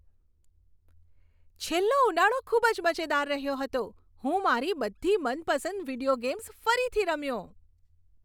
છેલ્લો ઉનાળો ખૂબ જ મજેદાર રહ્યો હતો. હું મારી બધી મનપસંદ વીડિયો ગેમ્સ ફરીથી રમ્યો.